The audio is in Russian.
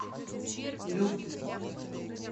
ю